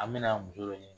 An bɛna muso dɔ ɲini